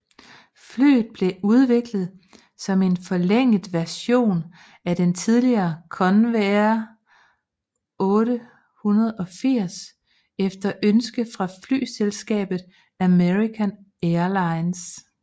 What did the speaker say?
Flyet blev udviklet som en forlænget version af den tidligere Convair 880 efter ønske fra flyselskabet American Airlines